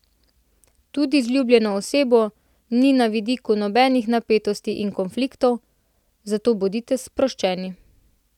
Tudi z ljubljeno osebo ni na vidiku nobenih napetosti ali konfliktov, zato bodite sproščeni.